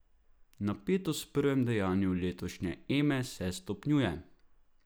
Napetost v prvem dejanju letošnje Eme se stopnjuje.